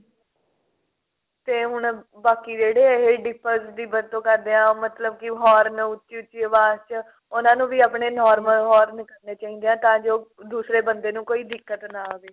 ਤੇ ਹੁਣ ਬਾਕੀ ਇਹ ਜਿਹੜੇ ਇਹ dippers ਦੀ ਵਰਤੋਂ ਕਰਦੇ ਨੇ ਮਤਲਬ ਕਿ horn ਉੱਚੀ ਉੱਚੀ ਆਵਾਜ਼ ਚ ਉਹਨਾ ਨੂੰ ਵੀ ਆਪਣੇ normal horn ਕਰਨੇ ਚਾਹੀਦੇ ਆ ਤਾਂ ਜੋ ਦੂਸਰੇ ਬੰਦੇ ਨੂੰ ਕੋਈ ਦਿੱਕਤ ਨਾ ਆਵੇ